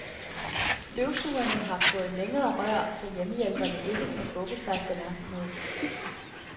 Støvsugerne har fået længere rør, så hjemmehjælperne ikke skal bukke sig så langt ned.